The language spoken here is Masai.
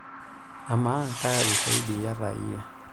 amaaa kaa ushaidi iyata iyie